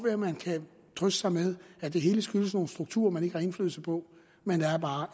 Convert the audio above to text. at man kan trøste sig med at det hele skyldes nogle strukturer man ikke har indflydelse på men der er bare